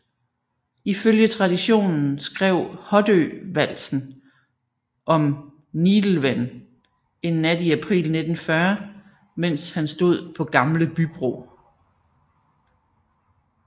Ifølge traditionen skrev Hoddø valsen om Nidelven en nat i april 1940 mens han stod på Gamle Bybro